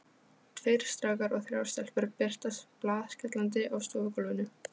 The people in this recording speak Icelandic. Tveir strákar og þrjár stelpur birtast blaðskellandi á stofugólfinu.